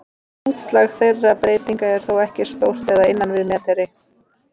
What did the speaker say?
Útslag þeirra breytinga er þó ekki stórt eða innan við metri.